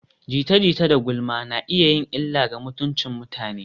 Jita-jita da gulma na iya yin illa ga mutuncin mutane.